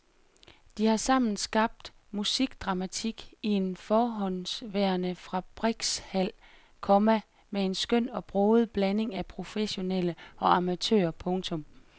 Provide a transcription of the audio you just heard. De har sammen skabt musikdramatik i en forhåndenværende fabrikshal, komma med en skøn og broget blanding af professionelle og amatører. punktum